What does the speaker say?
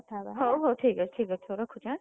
ହଉ ହଉ ଠିକ୍ଅଛି ଠିକ୍ଅଛି ରଖୁଚି ଆଁ।